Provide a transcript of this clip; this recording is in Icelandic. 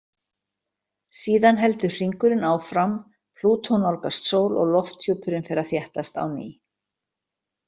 Síðan heldur hringurinn áfram, Plútó nálgast sól og lofthjúpurinn fer að þéttast á ný.